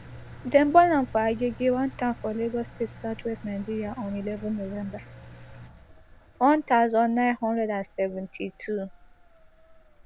dem born am for agege one town for lagos state southwest nigeria on eleven november one thousand, nine hundred and seventy-two